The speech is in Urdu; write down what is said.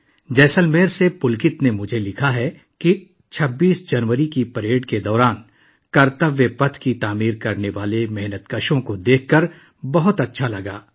جیسلمیر سے پلکت نے مجھے لکھا ہے کہ 26 جنوری کی پریڈ میں کرتویہ پتھ بنانے والے مزدوروں کو دیکھ کر بہت اچھا لگا